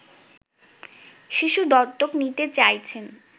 শিশু দত্তক নিতে চাইছেন